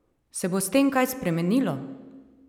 Se bo s tem kaj spremenilo?